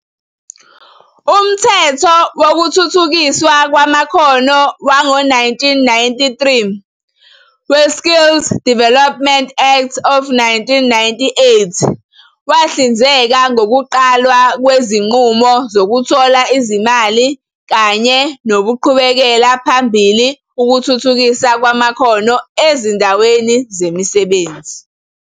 Umthetho wokuthuthukiswa kwamakhono wango 1993, we-Skills Development Act of 1998 wahlinzeka ngokuqalwa kwezinqubo zokuthola izimali kanye nokuqhubela phambili ukuthuthukiswa kwamakhono ezindaweni zemisebenzi.